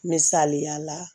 Misaliya la